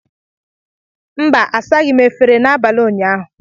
Mba, asaghị m efere n'abalị ụnyaahụ